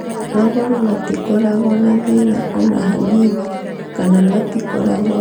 Magũrũ matikoragwo na thĩna o na hanini, kana matikoragwo naguo o na hanini.